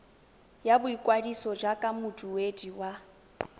ya boikwadiso jaaka moduedi wa